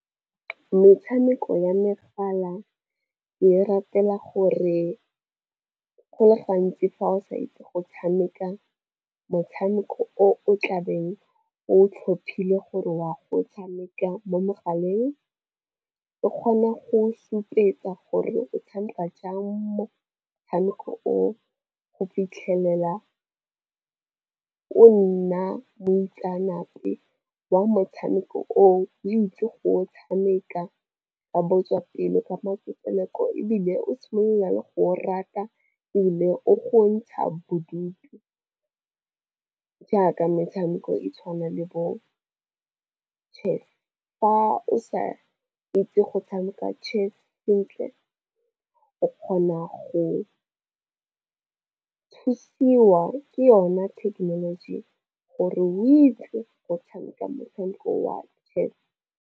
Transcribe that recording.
Metshameko ya megala ke e ratela gore go le gantsi fa o sa itse go tshameka motshameko o tlabeng o tlhophile gore wa go tshameka mo megaleng, e kgona go supetsa gore o tshameka jang motshameko o go fitlhelela o nna moitseanape wa motshameko oo. O itse go o tshameka ba botswapelo ka poloko, ebile o tshwenya le go o rata, ebile o go ntsha bodutu. Jaaka metshameko e tshwana le bo chess. Fa o sa itse go tshameka chess sentle, o kgona go thusiwa ke yone thekenoloji gore o itse go tshameka motshameko wa chess.